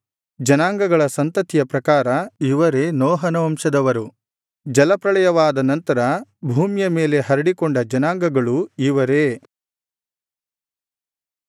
ಜನಾಂಗಗಳ ಸಂತತಿಯ ಪ್ರಕಾರ ಇವರೇ ನೋಹನ ವಂಶದವರು ಜಲಪ್ರಳಯವಾದ ನಂತರ ಭೂಮಿಯ ಮೇಲೆ ಹರಡಿಕೊಂಡ ಜನಾಂಗಗಳು ಇವರೇ